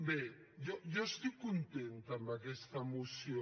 bé jo estic contenta amb aquesta moció